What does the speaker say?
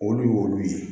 Olu y'olu ye